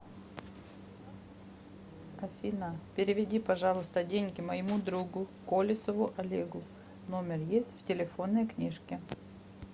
афина переведи пожалуйста деньги моему другу колесову олегу номер есть в телефонной книжке